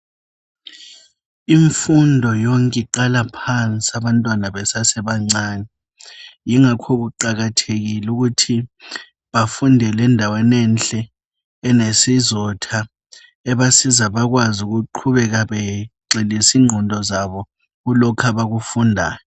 Imfundo yonke iqala phansi abantwana besasebancane, yingakho kuqakathekile ukuthi bafundele endaweni enhle, enesizotha, ebasiza bakwazi ukuqhubeka begxilise ingqondo zabo kulokho abakufundayo.